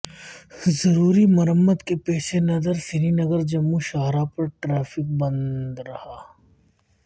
ضروری مرمت کے پیش نظر سرینگر جموں شاہراہ پر ٹریفک رہا بند